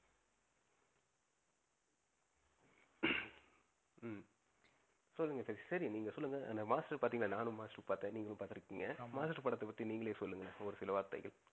ஹம் சொல்லுங்க சதீஷ். சரி நீங்க சொல்லுங்க. மாஸ்டர் பாத்திங்கனா நானும் மாஸ்டர் பாத்தன் நீங்களும் பாத்து இருக்கீங்க. ஆமா. மாஸ்டர் படத்த பத்தி நீங்களே சொல்லுங்க ஒரு சில வார்த்தைகள்.